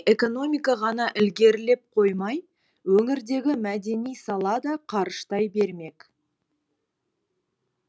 экономика ғана ілгерілеп қоймай өңірдегі мәдени сала да қарыштай бермек